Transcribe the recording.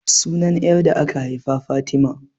Sunan 'yar da aka haifa Fatima.